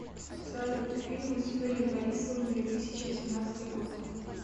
салют фильмы с юрием борисовым две тысячи восемнадцатый год